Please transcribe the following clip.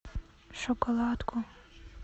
шоколадку